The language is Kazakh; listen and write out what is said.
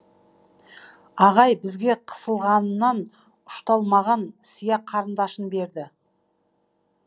ағай бізге қысылғанынан ұшталмаған сия қарындашын берді